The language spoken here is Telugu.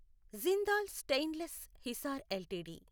Jindal stainless Hisar LTD